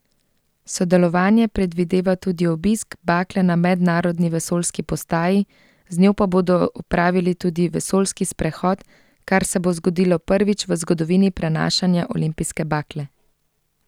Sodelovanje predvideva tudi obisk bakle na mednarodni vesoljski postaji, z njo pa bodo opravili tudi vesoljski sprehod, kar se bo zgodilo prvič v zgodovini prenašanja olimpijske bakle.